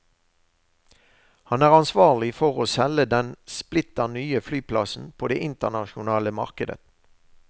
Han er ansvarlig for å selge den splitter nye flyplassen på det internasjonale markedet.